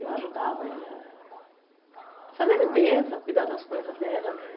Eu ajudava ela a fazer a limpeza, cuidar das coisas dela, né?